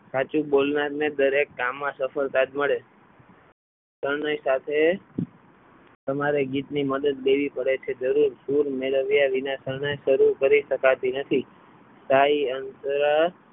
સાચું બોલનારને દરેક કામમાં સફળતા જ મળે શરણાઈ સાથે તમારે ગીતની મદદ લેવી પડે છે જરૂર સુર મેળવ્યા વિના શણાઈ શરૂ કરી શકાતી નથી ઢાઈ અક્ષર